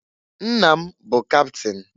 Nna m bụ kapịtịn.